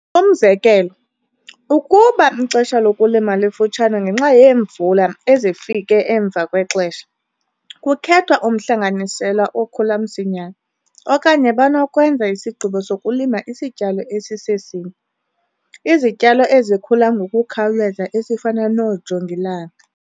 Umzekelo, ukuba ixesha lokulima lifutshane ngenxa yeemvula ezifike emva kwexesha, kukhethwa umhlanganisela okhula msinyane, okanye banokwenza isigqibo sokulima isityalo esisesinye, izityalo ezikhula ngokukhawuleza esifana noojongilanga.